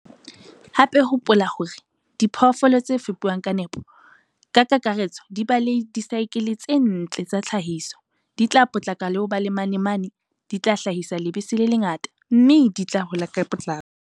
Hape, hopola hore diphoofolo tse fepuwang ka nepo, ka kakaretso di ba le disaekele tse ntle tsa tlhahiso, di tla potlaka ho ba le manamane, di tla hlahisa lebese le lengata, mme di tla hola ka potlako.